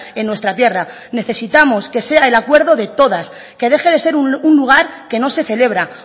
en nuestra tierra necesitamos que sea el acuerdo de todas que deje de ser un lugar que no se celebra